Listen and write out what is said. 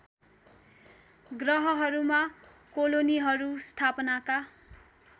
ग्रहहरूमा कोलोनीहरू स्थापनाका